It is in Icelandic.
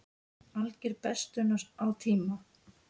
Alger bestun á tíma.